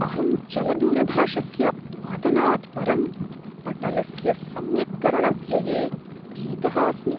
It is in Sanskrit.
अहं चलदूरभाषस्य पातनात् परं पटलस्य सम्यक्करणव्यये भीतः अस्मि।